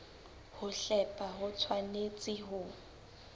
ho hlepha ho tshwanetse ho